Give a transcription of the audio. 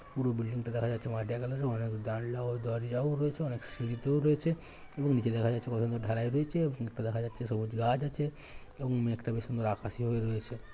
পুরো বিল্ডিংটা দেখা যাচ্ছে মাটিয়া কালারের । অনেক জানলা ও দরজাও রয়েছে। অনেক সিঁড়িতেও রয়েছে এবং নিচে দেখা যাচ্ছে কতগুলো ঢালাই রয়েছে এবং দেখা যাচ্ছে সবুজ গাছ আছে এবং মেঘটা বেশ সুন্দর আকাশি হয়ে রয়েছে।